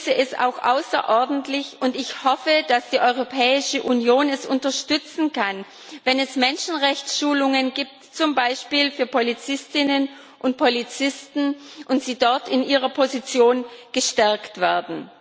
Ich begrüße es auch außerordentlich und ich hoffe, dass die Europäische Union das unterstützen kann wenn es Menschenrechtsschulungen zum Beispiel für Polizistinnen und Polizisten gibt und sie dort in ihrer Position gestärkt werden.